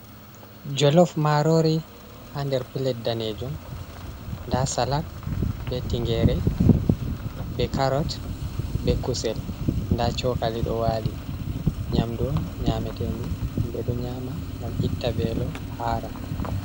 Jolof marori ha nder pilet daneejum. Nda salak be tingere, be karot, be kusel. Nda cokali ɗo wali. Nyamdu on nyametendu, ɓe ɗo nyaama ngam itta velo, hara.